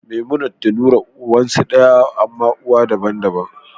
Memumat da Nura ubansu daya, amma uwa daban-daban.